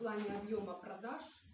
ладно объёма продаж